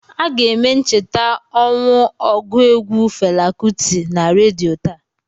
Aga eme ncheta ọnwụ ọgụ egwu Fela Kuti na redio taa